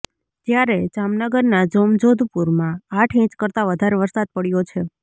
જ્યારે જામનગરના જોમજોધપુરમાં આઠ ઇંચ કરતા વધારે વરસાદ પડ્યો છે